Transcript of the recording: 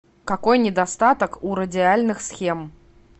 какой недостаток у радиальных схем